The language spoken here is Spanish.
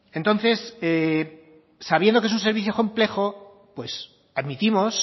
entonces sabiendo que es un servicio complejo pues admitimos